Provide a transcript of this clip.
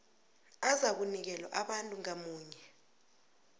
azakunikelwa abantu ngamunye